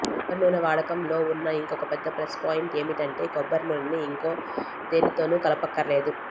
కొబ్బరి నూనె వాడకం లో ఉన్న ఇంకొక పెద్ద ప్లస్ పాయింట్ ఏమిటంటే కొబ్బరి నూనెని ఇంక దేనితోనూ కలపక్కర్లేదు